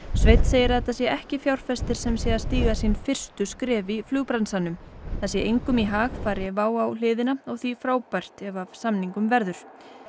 sveinn segir að þetta sé ekki fjárfestir sem sé að stíga sín fyrstu skref í flugbransanum það sé engum í hag fari WOW á hliðina og því frábært ef af samningum verður